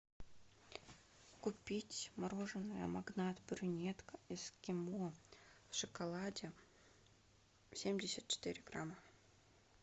купить мороженое магнат брюнетка эскимо в шоколаде семьдесят четыре грамма